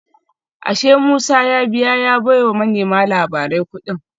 Ashe Musa ya biya ya baiwa manema labarai kudin